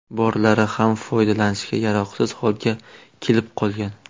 Borlari ham foydalanishga yaroqsiz holga kelib qolgan.